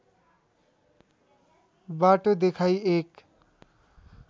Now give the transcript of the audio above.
बाटो देखाई एक